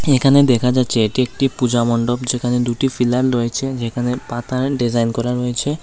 এখানে দেখা যাচ্ছে এটি একটি পূজা মন্ডপ যেখানে দুটি ফিলান রয়েছে যেখানে পাতার ডিজাইন করা রয়েছে।